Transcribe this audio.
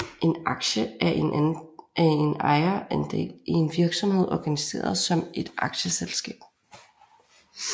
En aktie er en ejerandel i en virksomhed organiseret som et aktieselskab